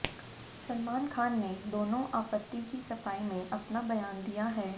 सलमान खान ने दोनों आपत्ति की सफाई में अपना बयान दिया है